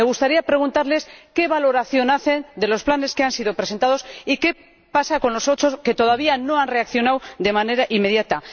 Me gustaría preguntarles qué valoración hacen de los planes que se han presentado y qué pasa con los ocho que todavía no han reaccionado de manera inmediata.